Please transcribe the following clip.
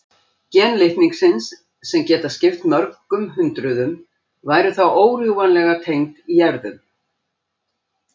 Gen litningsins, sem geta skipt mörgum hundruðum, væru þá órjúfanlega tengd í erfðum.